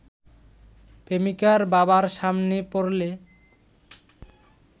প্রেমিকার বাবার সামনে পড়লে